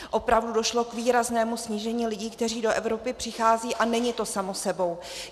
Opravdu došlo k výraznému snížení lidí, kteří do Evropy přicházejí, a není to samo sebou.